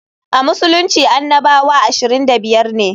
A Musulunci annabawa 25 ne.